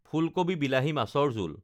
ফুলকবি বিলাহী মাছৰ জোল